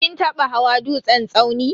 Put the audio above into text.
Kin taba hawa dutsen tsauni?